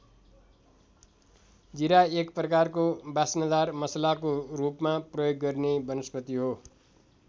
जीरा एक प्रकारको वास्नदार मसलाको रूपमा प्रयोग गरिने वनस्पति हो।